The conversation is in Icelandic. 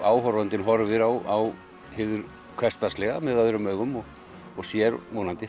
áhorfandinn horfir á hið hversdagslega með öðrum augum og sér vonandi